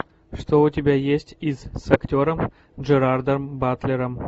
что у тебя есть из с актером джерардом батлером